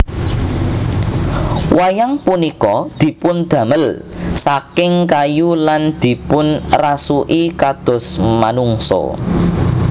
Wayang punika dipundamel saking kayu lan dipunrasuki kados manungsa